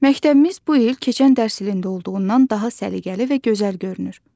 Məktəbimiz bu il keçən dərs ilində olduğundan daha səliqəli və gözəl görünür.